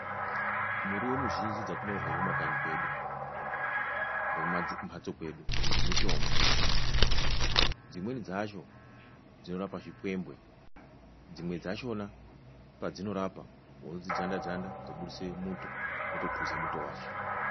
Muriwo mizhinji dzatinorya kumakanyi kwedu nekumamhatso kwedu mitombo, dzimweni dzacho dzinorapa zvipwembwe, dzimwe dzachona padzinorapa hosha unodzidzanda-dzanda dzobudise muto wotophuza muto wacho.